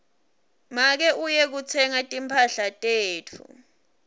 make uye kutsenga timphahla tetfu